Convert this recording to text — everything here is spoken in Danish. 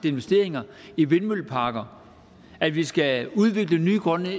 investeringer i vindmølleparker at vi skal udvikle nye grønne